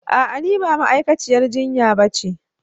A'a ni ba ma'aikaciyar jinya ba ce